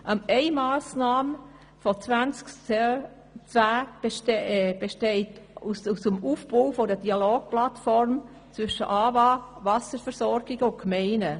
» Eine Massnahme von 2010 besteht aus dem Aufbau einer Dialogplattform zwischen AWA, Wasserversorgung und Gemeinden.